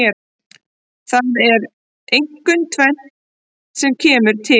Það er einkum tvennt sem kemur til.